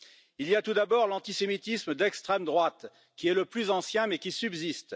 Il y a tout d'abord l'antisémitisme d'extrême droite, qui est le plus ancien, mais qui subsiste.